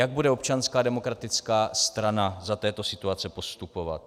Jak bude Občanská demokratická strana za této situace postupovat?